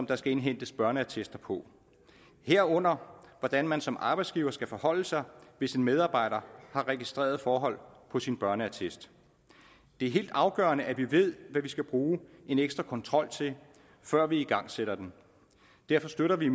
der skal indhentes børneattester på herunder hvordan man som arbejdsgiver skal forholde sig hvis en medarbejder har registrerede forhold på sin børneattest det er helt afgørende at vi ved hvad vi skal bruge en ekstra kontrol til før vi igangsætter den derfor støtter vi